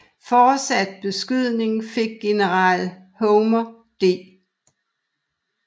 Fortsat beskydning fik general Homer D